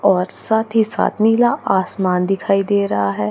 और साथ ही साथ नीला आसमान दिखाई दे रहा हैं।